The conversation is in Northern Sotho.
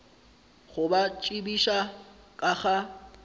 go ba tsebiša ka ga